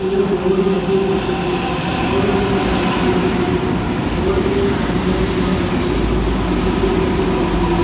एक बोर्ड लग्यो दिखेरो बोर्ड को कलर पीलाे दिखेरो बोर्ड पे कार्यालय नगर परिषद् कुचामन सिटी लिख्यो दिखे रियो।